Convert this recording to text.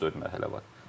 Üç-dörd mərhələ var.